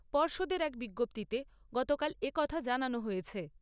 পর্ষদের এক বিজ্ঞপ্তিতে গতকাল একথা জানানো হয়েছে।